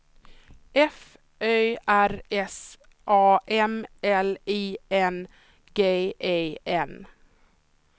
F Ö R S A M L I N G E N